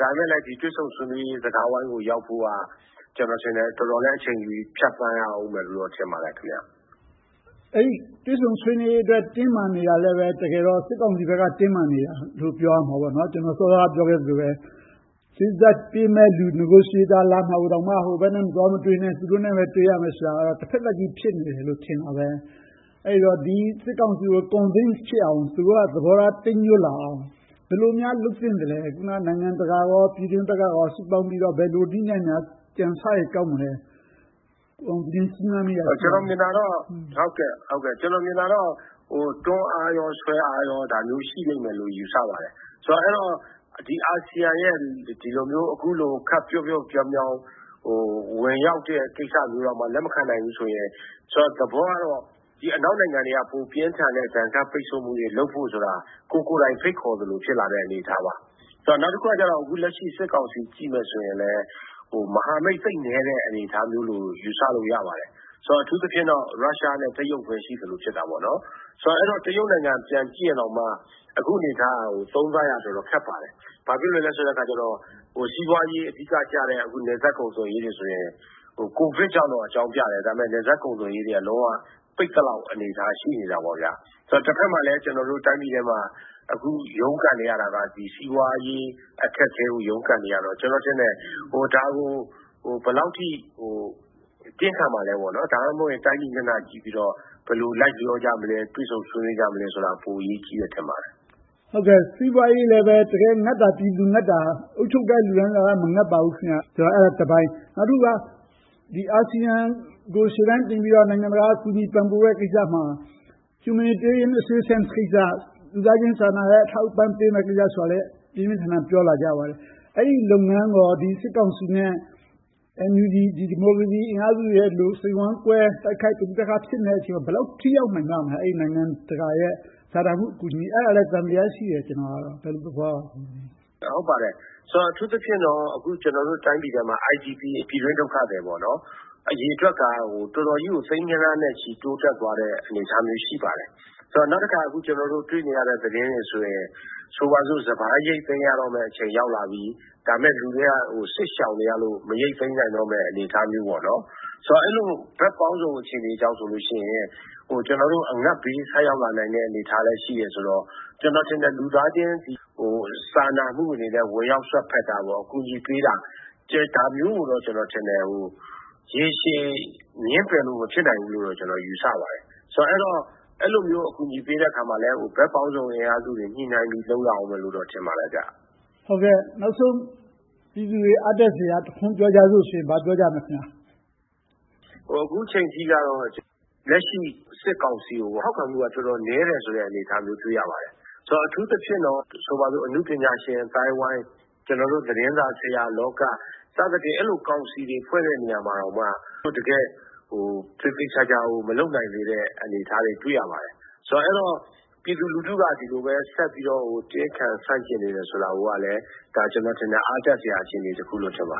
ဒါပေမဲ့ ဒီတွေ့ဆုံဆွေးနွေးရေး စကားဝိုင်းကို ရောက်ဖို့က တော်တော်လဲ အချိန်တွေဖြတ်သန်းရအုံးမယ်လို့ ထင်ပါတယ်။ အဲဒီတွေ့ဆုံဆွေးနွေးရေးဘက် တင်းမာနေတာလဲ တကယ်တော့ စစ်ကောင်စီဘက်က တင်းမာနေတာလို့ ပြောရမှာပေါ့။ စောစောကပြောခဲ့သလို စေ့စပ်ဆွေးနွေးပေးမယ့်လူ negotiator လာမှာတောင်မှ ဟိုဘက်နဲ့ သွားမတွေ့နဲ့ သူတို့နဲ့ပဲ တွေ့ရမယ်ဆိုတာက တဘက်သတ်ကြီး ဖြစ်နေတယ်လို့ ထင်တာပဲ။ အဲဒီတော့ ဒီစစ်ကောင်စီကို convince ဖြစ်အောင်၊ သူတို့ သဘောထား တိမ်းညွှတ်လာအောင် ဘယ်လိုများ လုပ်သင့်သလဲ။ အခုန နိုင်ငံတကာကော၊ ပြည်တွင်းဘက်က စုပေါင်းပြီးတော့ ဘယ်လိုနည်းနဲ့ ကြံဆရင် ကောင်းမလဲ။ ကိုအောင်သူငြိမ်း စဉ်းစားမိတာ ရှိပါသလား။ ကျနော်မြင်တာကတော့ တွန်းအားရော၊ ဆွဲအားရော ရှိလိမ့်မယ်လို့ ယူဆပါတယ်။ အဲဒီတော့ အာဆီယံရဲ့ အခုလိုမျိုး ခပ်ပျော့ပျော့ပြောင်းပြောင်း ဝင်ရောက်တဲ့ကိစ္စမျိုးတောင် လက်မခံနိုင်ဘူးဆိုရင် သဘောကတော့ အနောက်နိုင်ငံတွေက ပိုပြင်းထန်တဲ့ ဒဏ်ခတ်ပိတ်စို့မှုတွေ လုပ်ဖို့ဆိုတာ ကိုယ်ကိုယ်တိုင် ဖိတ်ခေါ်သလို ဖြစ်လာတဲ့ အနေအထားပါ။ နောက်တခုက အခုလက်ရှိ စစ်ကောင်စီဘက်ကို ကြည့်မယ်ဆိုရင်လဲ မဟာမိတ် သိပ်နည်းတဲ့ အနေအထားမျိုးလို့ ယူဆလို့ ရပါတယ်။ အထူးသဖြင့်တော့ ရုရှားနဲ့ တရုတ်ပဲ ရှိနေတဲ့သဘော ဖြစ်နေတယ်။ ဆိုတော့ တရုတ်နိုင်ငံကို ပြန်ကြည့်ရင်တောင်မှ အခုအနေအထားကို သုံးသပ်ရခက်ပါတယ်။ ဘာဖြစ်လို့လဲဆိုတော့ စီးပွားရေး အဓိကကျတဲ့ နယ်စပ်ကုန်သွယ်ရေးတွေဆိုရင် ကိုဗစ်ကြောင့်လို့ အကြောင်းပြတယ်။ နယ်စပ်ကုန်သွယ်ရေးတွေက လုံးဝပိတ်သလောက် အနေအထား ရှိနေတယ်။ တဘက်မှာလဲ ကျနော်တို့ တိုင်းပြည်ထဲမှာ ရုန်းကန်နေရတာက စီးပွားရေး အခက်အခဲကို ရုန်းကန်နေရတော့ ကျနော်ထင်တယ် ဒါကို ဘယ်လောက်အထိ တင်းခံမလဲ။ ဒါမှမဟုတ် တိုင်းပြည်မျက်နှာကြည့်ပြီးတော့ ဘယ်လိုလိုက်လျောကြမလဲ။ တွေ့ဆုံဆွေးနွေးကြမလဲဆိုတာ ပိုအရေးကြီးတယ် ထင်ပါတယ်။ စီးပွားရေးလည်း တကယ်ငတ်တာက ပြည်သူ။ အုပ်ချုပ်တဲ့ လူတန်းစားက မငတ်ပါဘူး။ အဲဒါကတပိုင်း။ နောက်တခုက အာဆီယံကို ရှေ့တန်းတင်ပြီးတော့ နိုင်ငံတကာက ကူညီပံ့ပိုးတဲ့ကိစ္စမှာ Humanitarian Assistance ကိစ္စ - လူသားချင်းစာနာမှုအထောက်အပံ့ ပေးမယ်ဆိုတဲ့ကိစ္စကိုလည်း ပြင်းပြင်းထန်ထန် ပြောလာကြပါတယ်။ အဲဒီလုပ်ငန်းကော ဒီစစ်ကောင်စီနဲ့ NUG ဒီမိုကရေစီအင်အားစုတွေကို စိတ်ဝမ်းကွဲတိုက်ခိုက်နေတဲ့ အချိန်မှာ ဘယ်လောက်အထိ ထိရောက်နိုင်မလဲ။ နိုင်ငံတကာရဲ့ စာနာမှုအကူအညီ။ အဲဒါလဲ သံသယ ရှိတယ်။ ဘယ်လိုသဘောမျိုး ရှိပါသလဲ။ ဟုတ်ပါတယ်။ အထူးသဖြင့်တော့ ကျနော်တို့တိုင်းပြည်တွင်းမှာ IDP ပြည်တွင်းဒုက္ခသည် အရေအတွက်က တော်တော်ကြီးကို သိန်းဂဏန်းနဲ့ချီ တိုးတက်သွားတဲ့ အနေအထားမျိုး ရှိပါတယ်။ နောက်တခါ ကျနော်တို့ တွေ့နေရတဲ့သတင်းတွေဆိုရင် - ဆိုပါစို့ စပါးရိုတ်သိမ်းရတော့မယ်အချိန် ရောက်လာပြီ၊ ဒါပေမဲ့ လူတွေက စစ်ရှောင်နေရလို့ မရိုတ်သိမ်းနိုင်တော့တဲ့ အခြေအနေမျိုး။ ဆိုတော့ အဲဒီလို ဘက်ပေါင်းစုံအခြေအနေကြောင့်ဆိုရင် ကျနော်တို့ အငတ်ဘေးဆိုက်ရောက်လာနိုင်တဲ့ အနေအထားလည်း ရှိတယ်ဆိုတော့ ကျနော်ထင်တယ် လူသားချင်းစာနာမှုအနေနဲ့ ဝင်ရောက်စွက်ဖက်တာ၊ အကူအညီပေးတာ ဒါမျိုးကိုတော့ ကျနော်ထင်တယ် ရေရှည်ငြင်းပယ်လို့ မဖြစ်နိုင်ဘူးလို့ ကျနော်ယူဆပါတယ်။ ဆိုတော့ အဲဒီလိုအကူအညီပေးတဲ့အခါမှာလဲ ဘက်ပေါင်းစုံ အင်အားစုတွေ ညှိနှိုင်းပြီးတော့ လုပ်ရမယ်လို့ ထင်ပါတယ်။ နောက်ဆုံး ပြည်သူတွေအားတက်စရာ ပြောကြစို့ဆိုရင် ဘာပြောကြမလဲ။ အခုအချိန်အထိတော့ လက်ရှိ စစ်ကောင်စီကို ထောက်ခံမှုက တော်တော်နည်းတယ်ဆိုတဲ့ အနေအထားမျိုး တွေ့ရပါတယ်။ အထူးသဖြင့်တော့ အနုပညာရှင်အသိုင်းအဝိုင်း။ ကျနော်တို့ သတင်းစာဆရာလောက စသဖြင့် အဲဒီလိုကောင်စီတွေ ဖွဲ့တဲ့နေရာမှာတောင် သူတို့ သေသေချာချာကို မလုပ်နိုင်သေးတဲ့ အနေအထားတွေ တွေ့ရပါတယ်။ အဲဒီတော့ ပြည်သူလူထုက ဒီလိုပဲ ဆက်ပြီးတော့ တင်းခံဆန့်ကျင်နေတယ်ဆိုတာလဲ ဒါက အားတက်စရာ အခြေအနေတခုလို့ ထင်ပါတ